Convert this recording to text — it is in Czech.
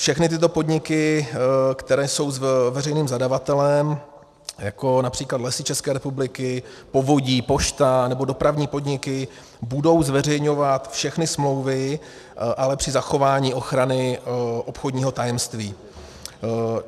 Všechny tyto podniky, které jsou veřejným zadavatelem, jako například Lesy České republiky, povodí, pošta nebo dopravní podniky, budou zveřejňovat všechny smlouvy, ale při zachování ochrany obchodního tajemství.